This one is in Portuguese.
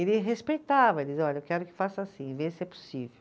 Ele respeitava, ele dizia, olha, eu quero que faça assim, vê se é possível.